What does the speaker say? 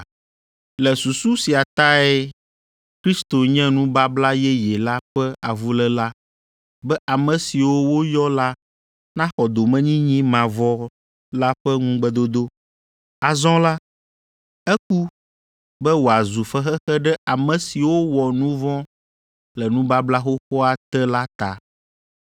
Le susu sia tae Kristo nye nubabla yeye la ƒe avuléla be ame siwo woyɔ la naxɔ domenyinyi mavɔ la ƒe ŋugbedodo. Azɔ la, eku be wòazu fexexe ɖe ame siwo wɔ nu vɔ̃ le nubabla xoxoa te la ta.